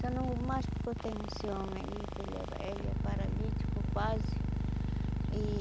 Só não vou mais porque eu tenho esse homem aí, que ele é ele é paralítico quase e.